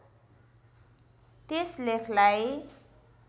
त्यस लेखलाई